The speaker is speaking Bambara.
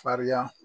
Farinya